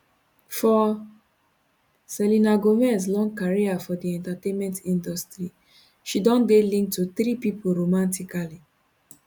for selena gomez long career for di entertainment industry she don dey linked to three pipo romantically